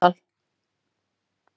Við fengum svo símtal.